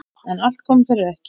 En allt kom fyrir ekki!